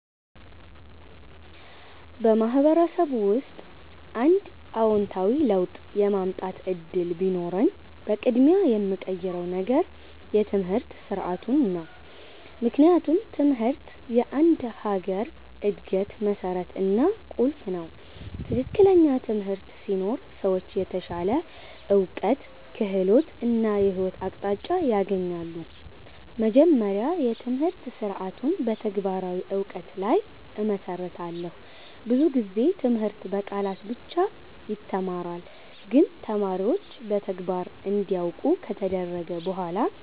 በማህበረሰብ ውስጥ አንድ አዎንታዊ ለውጥ የማምጣት እድል ቢኖረኝ፣ በቅድሚያ የምቀይረው ነገር የትምህርት ስርዓቱ ነው። ምክንያቱም ትምህርት የአንድ ሀገር እድገት መሠረት እና ቁልፍ ነው። ትክክለኛ ትምህርት ሲኖር ሰዎች የተሻለ እውቀት፣ ክህሎት እና የህይወት አቅጣጫ ያገኛሉ። መጀመሪያ፣ የትምህርት ስርዓቱን በተግባራዊ እውቀት ላይ እመሰርታለሁ። ብዙ ጊዜ ትምህርት በቃላት ብቻ ይተማራል፣ ግን ተማሪዎች በተግባር እንዲያውቁ ከተደረገ በኋላ